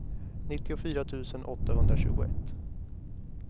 nittiofyra tusen åttahundratjugoett